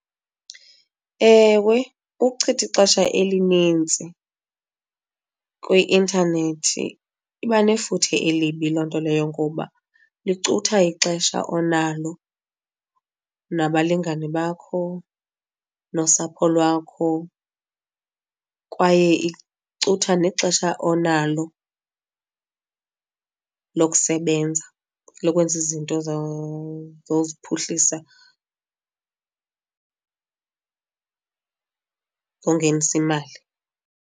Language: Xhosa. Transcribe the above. Ewe ukuchitha ixesha elinintsi kwi-intanethi iba nefuthe elibi loo nto leyo ngoba licutha ixesha onalo nabalingane bakho nosapho lwakho, kwaye icutha nexesha onalo lokusebenza lokwenza izinto zoziphuhlisa, zongenisa imali.